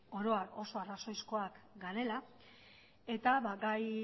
oro har oso arrazoizkoak garela eta gai